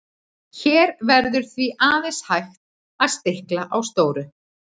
Hér verður því aðeins hægt að stikla á stóru.